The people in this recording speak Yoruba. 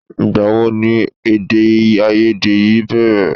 Ìgbàwo ni èdèàìyedè yìí bẹ̀rẹ̀?